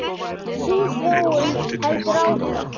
Sú þróun heldur áfram.